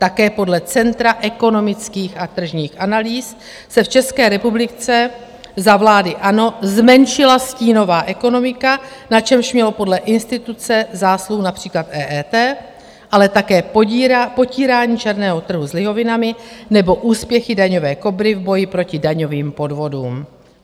Také podle Centra ekonomických a tržních analýz se v České republice za vlády ANO zmenšila stínová ekonomika, na čemž mělo podle instituce zásluhu například EET, ale také potírání černého trhu s lihovinami nebo úspěchy Daňové Kobry v boji proti daňovým podvodům.